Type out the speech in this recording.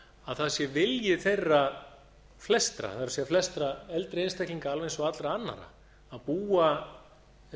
að það sé vilji flestra eldri einstaklinga alveg eins og allra annarra að búa